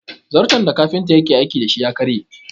Zarton da kafinta yake aiki da shi ya karye